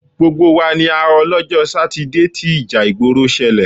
Gbogbo wa ni a họ lọ́jọ́ Sátidé tí ìjà ìgbòrò ṣẹlẹ̀.